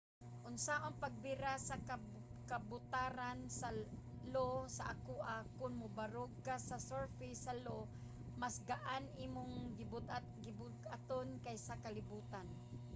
unsaon pagbira sa kabutaran sa io sa akoa? kon mobarog ka sa surface sa io mas gaan imong gibug-aton kaysa sa kalibutan